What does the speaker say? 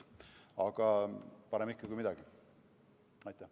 Aga parem ikka kui mitte midagi.